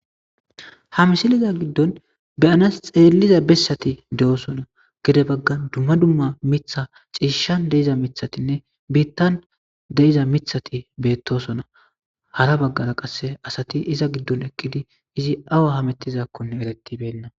ha misiliza giddon beyanas xeelliza bessati de'osona gede baggan dumma dumma miththa ciishshan de'iza miththatinne biittan de'iza miththatti bettossona hara baggara qasse asati iza giddon eqqidi izi awa hamettizakkonne eretibenna